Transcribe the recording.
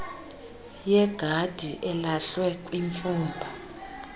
yegadi elahlwe kwimfumba